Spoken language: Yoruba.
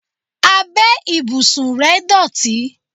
Abẹ́ ìbùsùn rẹ̀ dọ̀tí.